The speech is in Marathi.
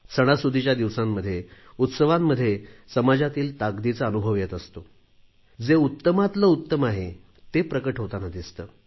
सणासुदीच्या दिवसांमध्ये उत्सवांमध्येही समाजातील ताकदीचा अनुभव येत असतो जे उत्तमातील उत्तम आहे ते प्रकट होताना दिसते